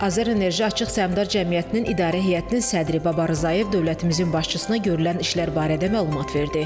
AzərEnerji Açıq Səhmdar Cəmiyyətinin idarə heyətinin sədri Babar Rzayev dövlətimizin başçısına görülən işlər barədə məlumat verdi.